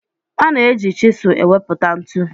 A na-eji chịsụ enweputa ntu